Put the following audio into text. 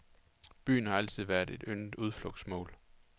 Byen har altid været et yndet udflugtsmål.